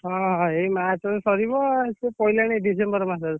ହଁ ଏଇ March ରେ ସରିବ ସେ ପଇଲାଣି December ମାସ ରୁ।